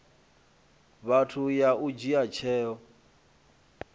vhathu ya u dzhia tsheo